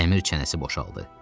Dəmir çənəsi boşaldı.